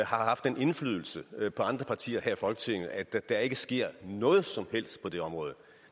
har haft den indflydelse på andre partier her i folketinget at der der ikke sker noget som helst på det område